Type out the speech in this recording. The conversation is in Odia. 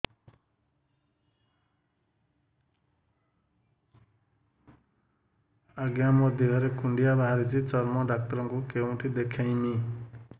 ଆଜ୍ଞା ମୋ ଦେହ ରେ କୁଣ୍ଡିଆ ବାହାରିଛି ଚର୍ମ ଡାକ୍ତର ଙ୍କୁ କେଉଁଠି ଦେଖେଇମି